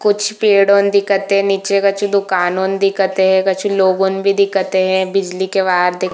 कुछ पेडून दिखत है निचे कछु दुकान दिखत है कछु लोगोंन भी दिखत है बिजली के वायर दिख--